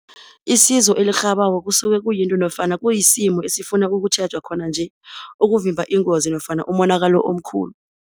Isizo elirhabako kusuke kuyinto nofana kuyisimo esifuna ukutjhejwa khona nje ukuvimba ingozi nofana umonakalo omkhulu.